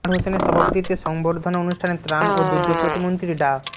আনোয়ার হোসেনের সভাপতিত্বে সংবর্ধনা অনুষ্ঠানে ত্রাণ ও দুর্যোগ প্রতিমন্ত্রী ডা